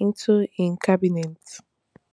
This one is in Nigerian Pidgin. into im cabinet